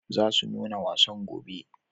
Za su nuna wasan gobe.